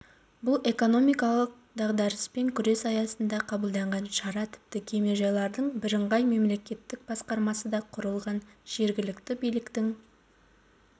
бұл экономикалық дағдарыспен күрес аясында қабылданған шара тіпті кемежайлардың бірыңғай мемлекеттік басқармасы да құрылған жергілікті биліктің